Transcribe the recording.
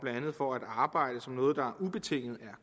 for at arbejde som noget der ubetinget